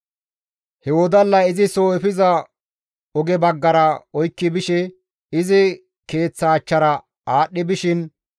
He wodallay izi soo efiza oge baggara oykki bishe izi keeththa achchara aadhdhi bishin,